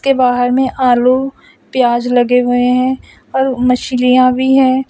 बाहर में आलू प्याज लगे हुए हैं और मछलियां भी है।